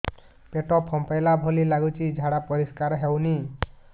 ପେଟ ଫମ୍ପେଇଲା ଭଳି ଲାଗୁଛି ଝାଡା ପରିସ୍କାର ହେଉନି